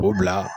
O bila